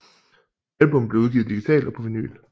Albummet blev udgivet digitalt og på vinyl